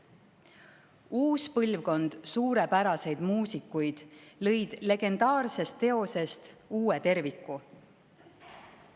Uus põlvkond suurepäraseid muusikuid lõi legendaarsest teosest uue terviku.